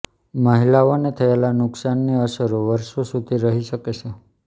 મહિલાઓને થયેલા નુકસાનની અસરો વર્ષો સુધી રહી શકે છે